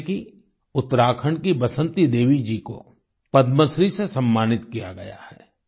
जैसे कि उत्तराखंड की बसंती देवी जी को पद्मश्री से सम्मानित किया गया है